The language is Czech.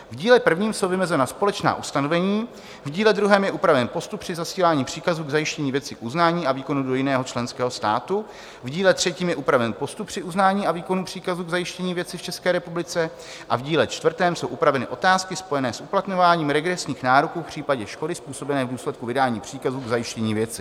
V díle prvním jsou vymezena společná ustanovení, v díle druhém je upraven postup při zasílání příkazu k zajištění věci k uznání a výkonu do jiného členského státu, v díle třetím je upraven postup při uznání a výkonu příkazu k zajištění věci v České republice a v díle čtvrtém jsou upraveny otázky spojené s uplatňováním regresních nároků v případě škody způsobené v důsledku vydání příkazu k zajištění věci.